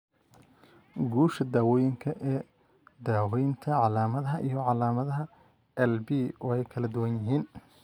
Guusha daawooyinkan ee daaweynta calaamadaha iyo calaamadaha LP way kala duwan yihiin.